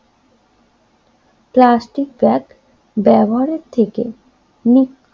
plastic bag ব্যবহারের থেকে নিক্ষু